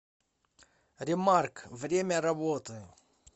ремарк время работы